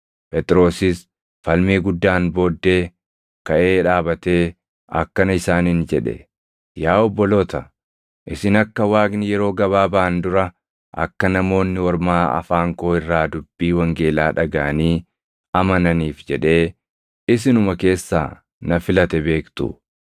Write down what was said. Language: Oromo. Phexrosis falmii guddaan booddee kaʼee dhaabatee akkana isaaniin jedhe; “Yaa obboloota, isin akka Waaqni yeroo gabaabaan dura akka Namoonni Ormaa afaan koo irraa dubbii wangeelaa dhagaʼanii amananiif jedhee isinuma keessaa na filate beektu.